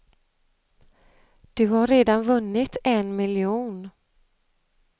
Du har redan vunnit en miljon.